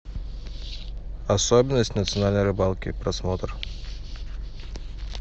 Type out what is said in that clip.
особенность национальной рыбалки просмотр